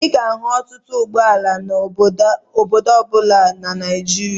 Ị ga-ahụ ọtụtụ ụgbọala n'obodo ọ bụla na Naịjịria.